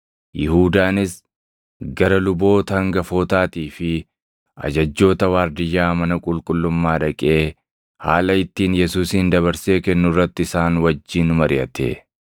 Yihuudaanis gara luboota hangafootaatii fi ajajjoota waardiyyaa mana qulqullummaa dhaqee haala ittiin Yesuusin dabarsee kennu irratti isaan wajjin mariʼate.